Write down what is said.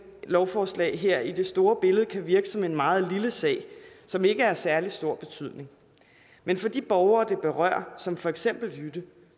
lovforslag her i det store billede kan virke som en meget lille sag som ikke er af særlig stor betydning men for de borgere det berører som for eksempel jytte